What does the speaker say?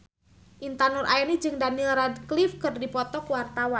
Intan Nuraini jeung Daniel Radcliffe keur dipoto ku wartawan